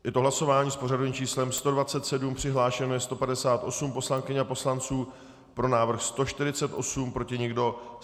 Je to hlasování s pořadovým číslem 127, přihlášeno je 158 poslankyň a poslanců, pro návrh 148, proti nikdo.